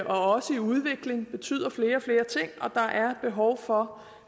også i udvikling det betyder flere og flere ting og der er behov for